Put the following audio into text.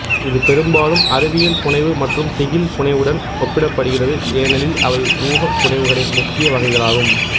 இது பெரும்பாலும் அறிவியல் புனைவு மற்றும் திகில் புனைவுவுடன் ஒப்பிடப்படுகிறது ஏனெனில் அவை ஊகப்புனைவுளின் முக்கிய வகைகளாகும்